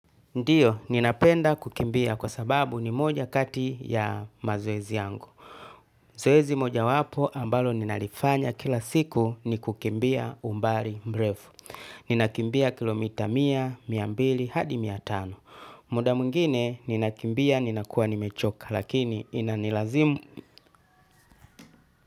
Ndiyo, ninapenda kukimbia kwa sababu ni moja kati ya mazoezi yangu. Zoezi moja wapo ambalo ninalifanya kila siku ni kukimbia umbali mrefu. Ninakimbia kilomita mia, miambili, hadi miatano. Muda mwingine ninakimbia ninakuwa nimechoka lakini inanilazimu.